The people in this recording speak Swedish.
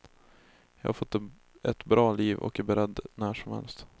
Jag har fått ett bra liv och är beredd när som helst.